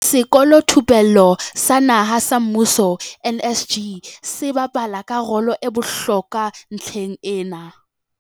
Sekolothupello sa Naha sa Mmuso, NSG, se bapala ka rolo e bohlokwa ntlheng ena.